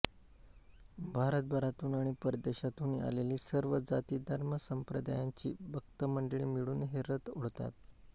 भारतभरांतून आणि परदेशांतूनही आलेली सर्व जातिधर्मसंप्रदायांची भक्त मंडळी मिळून हे रथ ओढतात